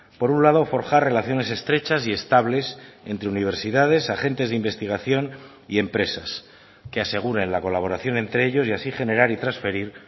por un lado forjar relaciones estrechas y estables entre universidades agentes de investigación y empresas que aseguren la colaboración entre ellos y así generar y transferir